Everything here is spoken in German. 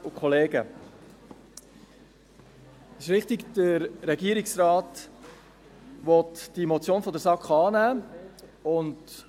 Es ist richtig, der Regierungsrat will die Motion der SAK annehmen.